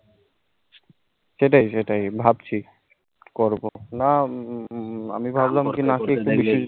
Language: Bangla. সেটাই সেটাই ভাবছি কবো কবো না আমি ভাবলাম কি